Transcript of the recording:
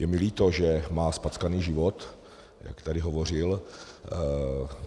Je mi líto, že má zpackaný život, jak tady hovořil.